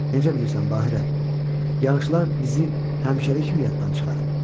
Necə bilirsən Bahirə, yağışlar bizi həmişəlik yaddan çıxarıb?